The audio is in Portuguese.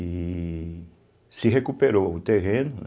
E se recuperou o terreno, né?